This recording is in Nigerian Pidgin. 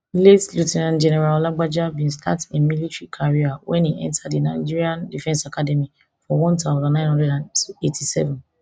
late lt general lagbaja bin start im military career wen e enta di nigerian defence academy for one thousand, nine hundred and eighty-seven